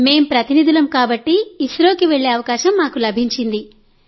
మేం ప్రతినిధులం కాబట్టి ఇస్రోకి వెళ్లే అవకాశం మాకు లభించింది